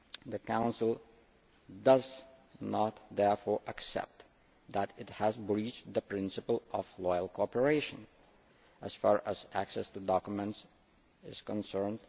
The Council does not therefore accept that it has breached the principle of loyal cooperation as far as access to documents is concerned.